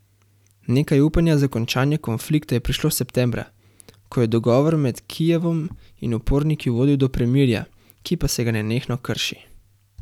Nekaj upanja za končanje konflikta je prišlo septembra, ko je dogovor med Kijevom in uporniki vodil do premirja, ki pa se ga nenehno krši.